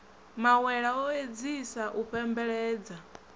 mawela o edziasa u fhembeledza